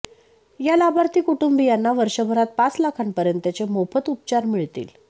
या लाभार्थी कुटुंबीयांना वर्षभरात पाच लाखांपर्यंतचे मोफत उपचार मिळतील